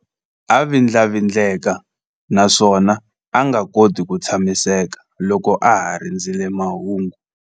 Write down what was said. A vindlavindleka naswona a nga koti ku tshamiseka loko a ha rindzerile mahungu.